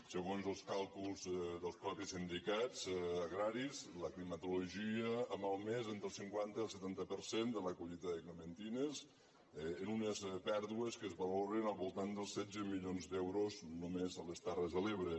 segons els càlculs dels mateixos sindicats agraris la climatologia ha malmès entre el cinquanta i el setanta per cent de la collita de clementines amb unes pèrdues que es valoren al voltant dels setze milions d’euros només a les terres de l’ebre